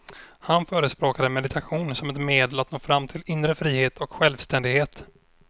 Han förespråkade meditation som ett medel att nå fram till inre frihet och självständighet.